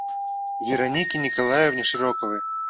веронике николаевне широковой